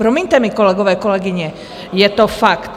Promiňte mi, kolegové, kolegyně, je to fakt.